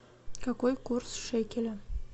какой курс шекеля